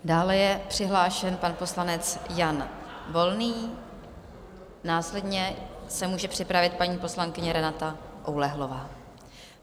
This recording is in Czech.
Dále je přihlášen pan poslanec Jan Volný, následně se může připravit paní poslankyně Renata Oulehlová.